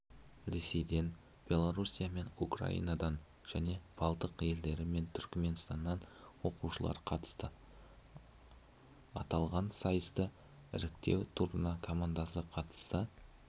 ресейден беларусия мен украинаданжәне балтық елдері мен түркменстаннан оқушылар қатысты аталаған сайыстыңіріктеу турына команда қатысса